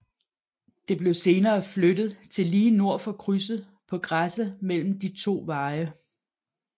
Det blev senere flyttet til lige nord for krydset på græsset mellem de to veje